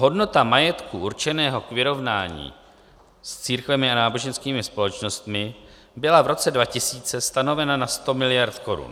Hodnota majetku určeného k vyrovnání s církvemi a náboženskými společnostmi byla v roce 2000 stanovena na 100 miliard korun.